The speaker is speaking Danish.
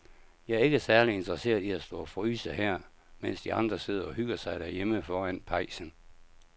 Jeg er ikke særlig interesseret i at stå og fryse her, mens de andre sidder og hygger sig derhjemme foran pejsen.